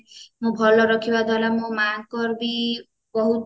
ମୁ ଭଲ ରଖିବା ଦ୍ଵାରା ମୋ ମାଙ୍କର ବି ବହୁତ